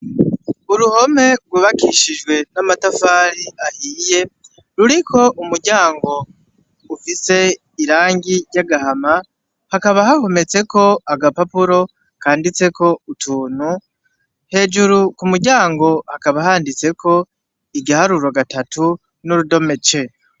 Uruhome rwubakishijwe n'amatafari ahiye ruriko umuryango ufise irangi ryagahama hakaba hahometseko agapapuro kanditseko utuntu hejuru ku muryango hakaba handitseko igiharuro gatatu n'urudome ce.